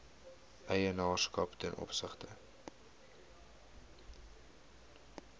eienaarskap ten opsigte